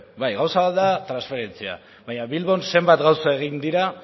bai gauza bat da transferentzia baina bilbon zenbat gauza egin dira